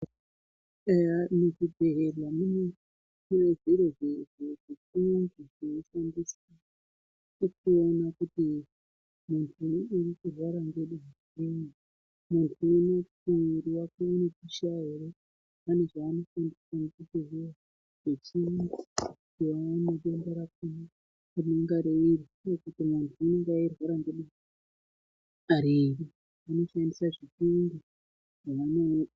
Eye muzvibhedhlera mwedumo munezvimwe zviro zvinoshandiswa kuti zvionekwe kuti muviri wemuntu uri kupisha here kana kuti zvimweni zviro zvinohloya kuti muntu ari kuneseka nedenta riri.